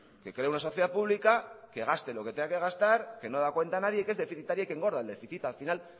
que cree una sociedad pública que gaste lo que tenga que gastar que no da cuenta a nadie que es deficitaria y que engorda el déficit al final